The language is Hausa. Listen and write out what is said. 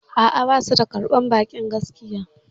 A'a, basu da karɓan ba'i gaskiya